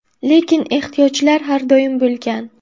Lekin ehtiyojlar har doim bo‘lgan.